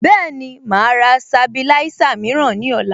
Bẹ́ẹ̀ni, màá rà Sabilisa mìíràn ní ọ̀la